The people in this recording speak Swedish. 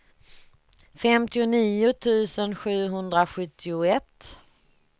femtionio tusen sjuhundrasjuttioett